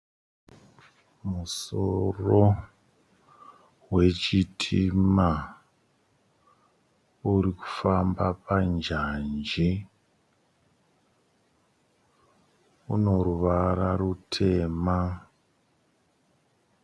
Musoro wechitima urikufamba panjanji unoruvara rutema.